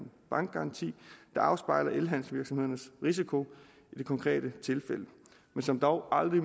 bankgaranti der afspejler elhandelsvirksomhedernes risiko i det konkrete tilfælde men som dog aldrig